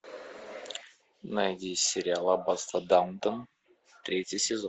найди сериал аббатство даунтон третий сезон